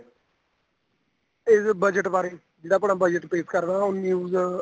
ਇਹ budget ਬਾਰੇ ਜਿਹੜਾ ਆਪਣਾ budget ਪੇਸ਼ ਕਰਦਾ ਉਹ news